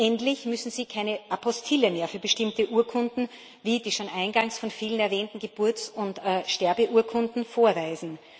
Endlich müssen sie keine Apostille mehr für bestimmte Urkunden, wie die schon eingangs von vielen erwähnten Geburts und Sterbeurkunden, vorweisen.